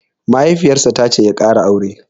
Mahaifiyar sa tace ya ƙara aure